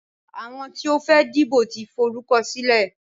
Àwọn tí ó fẹ́ dìbò tí forúkọ sílẹ̀.